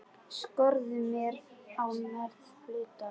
Skorður á meðferð hluta.